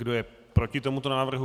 Kdo je proti tomuto návrhu?